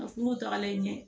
tagalen ɲɛ